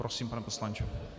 Prosím, pane poslanče.